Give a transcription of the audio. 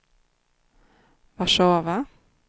Warszawa